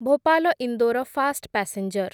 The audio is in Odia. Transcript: Bhopal Indore fast passenger